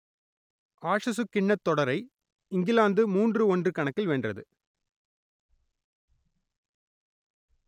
ஆஷசுக் கிண்ணத் தொடரை இங்கிலாந்து மூன்று ஒன்று கணக்கில் வென்றது